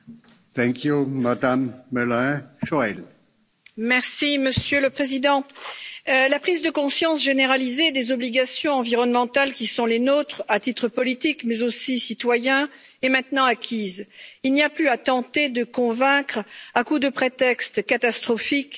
Monsieur le Président, la prise de conscience généralisée des obligations environnementales qui sont les nôtres, à titre politique, mais aussi citoyen, est maintenant acquise il n'y a plus à tenter de convaincre à coups de prétextes catastrophiques ou catastrophistes pas toujours étayés par les scientifiques.